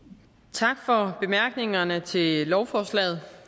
tak for bemærkningerne til lovforslaget